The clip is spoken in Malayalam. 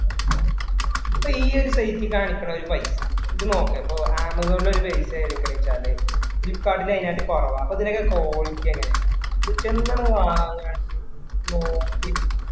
ഇപ്പൊ ഈ ഒരു painting ആണ് ഇത്ര വലിയ പൈസ. ഇത് നോക്ക് ഇപ്പൊ Amazon ഇൽ ഒരു paint ആണ് എടുക്കണേ വെച്ചാല് അതിനകത്തിൽ കുറവാ. അപ്പൊ ഇതിന്റെ ഒക്കെ quality എങ്ങിനെ ഉണ്ടാവും. ഇത് ചെന്ന് നമ്മള് വാങ്ങുവാണെങ്കില് നോക്കി